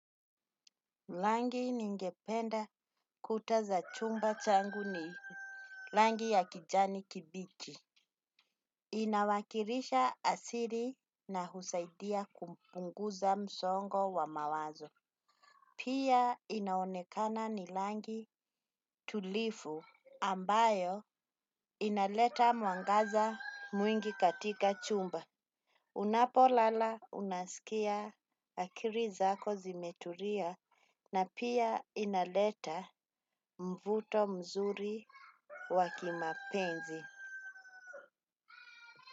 Rangi ningependa kuta za chumba changu ni rangi ya kijani kibichi. Inawakilisha asili na husaidia kumpunguza msongo wa mawazo. Pia inaonekana ni rangi tulivu ambayo inaleta mwangaza mwingi katika chumba. Unapo lala unaskia akili zako zimetulia na pia inaleta mvuto mzuri wa kimapenzi.